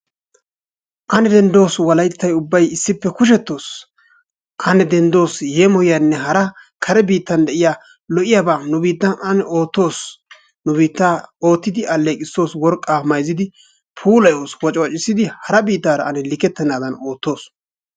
Ane denddos wolayttayi ubbayi issippe kushettos. Ane denddos yeemoyiyanne hara kare biittan de"iya lo"iyaba nu biittan ane oottos. Nu biittaa oottidi alleeqissos worqqaa mayzzidi puulayos waciwacissidi hara biittaara ane likettennaadan oottos.